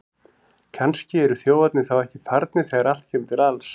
Kannski eru þjófarnir þá ekki farnir þegar allt kemur til alls!